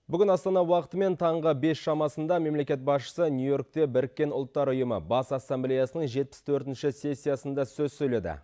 бүгін астана уақытымен таңғы бес шамасында мемлекет басшысы нью йоркте біріккен ұлттар ұйымы бас ассамблеясының жетпіс төртінші сессиясында сөз сөйледі